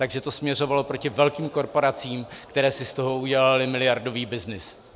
Takže to směřovalo proti velkým korporacím, které si z toho udělaly miliardový byznys.